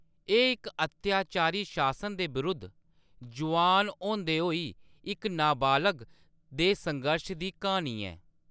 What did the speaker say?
एह्‌‌ इक अत्याचारी शासन दे विरुद्ध, जोआन होंदे होई इक नाबालग दे संघर्श दी, क्हानी ऐ।